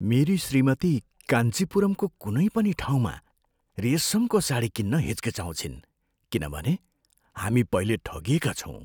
मेरी श्रीमती कान्चीपुरमको कुनै पनि ठाउँमा रेसमको साडी किन्न हिचकिचाउँछिन् किनभने हामी पहिले ठगिएका छौँ।